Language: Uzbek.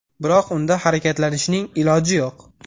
Biroq unda harakatlanishning iloji yo‘q.